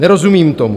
Nerozumím tomu.